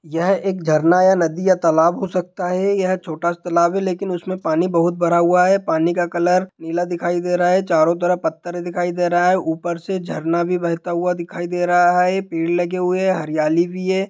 यह एक झरना या नदी या तालाब हो सकता है| यह छोटा सा तालाब है लेकिन उसमे पानी बहुत भरा हुआ है पानी का कलर नीला दिखाई दे रहा है| चारो तरफ पत्थर दिखाई दे रहा है ऊपर से झरना भी बहता हुआ दिखाई दे रहा है पेड़ लगे हुए है हरियाली भी है।